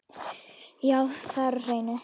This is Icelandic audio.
Já, það er á hreinu.